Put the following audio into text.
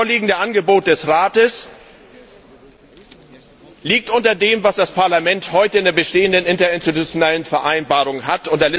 Das vorliegende Angebot des Rates liegt unter dem, was das Parlament heute in der bestehenden Interinstitutionellen Vereinbarung hat.